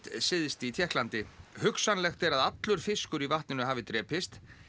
syðst í Tékklandi hugsanlegt er að allur fiskur í vatninu hafi drepist